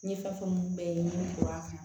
N ye fɛn fɛn bɛɛ ye n ye bɔ a kan